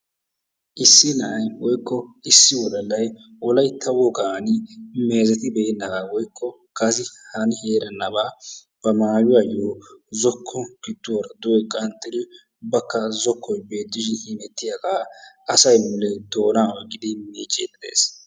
Issi na'ay woykko issi wodallay wolaytta wogaan meezettibenaaba woykko kase hani erennabaa ba mayuwaayo zookko gidoora duge qanxxiri ubbaka zokkoy beettishin hemettiyaagaa asay mule doonaa oyqqidi miiccidi de'ees.